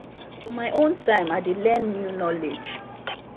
for my own time i dey learn new knowledge.